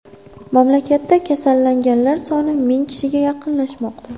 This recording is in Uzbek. Mamlakatda kasallanganlar soni ming kishiga yaqinlashmoqda.